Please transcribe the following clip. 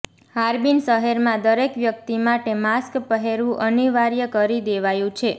Harbin શહેરમાં દરેક વ્યક્તિ માટે માસ્ક પહેરવું અનિવાર્ય કરી દેવાયું છે